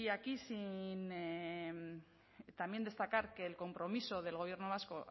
aquí también destacar que el compromiso del gobierno vasco